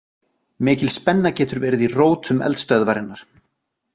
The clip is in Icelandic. Mikil spenna getur verið í rótum eldstöðvarinnar.